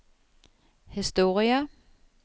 historie